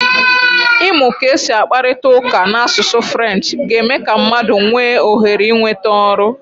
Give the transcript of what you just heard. Ịmụ ka esi akparịta ụka n'asụsụ Frenchị ga-eme ka mmadụ nwee ohere ịnweta ọrụ.